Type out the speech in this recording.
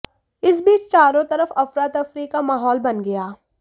इस बीच चारों तरफ अफरातफरी का माहौल बन गया